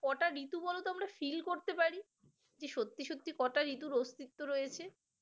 কটা ঋতু বলো তো আমরা ফিল করতে পারি সত্যি সত্যি কটা ঋতুর অস্তিত্ব রয়েছে